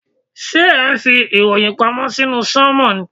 Ṣé ẹ̀ ń fi ìròyìn pamọ́ sínú sánmọ̀.